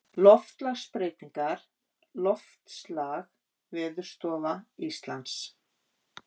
Loftslagsbreytingar Loftslag Veðurstofa Íslands.